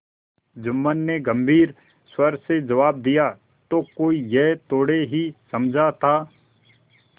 जुम्मन ने गम्भीर स्वर से जवाब दियातो कोई यह थोड़े ही समझा था